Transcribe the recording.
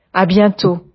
see you soon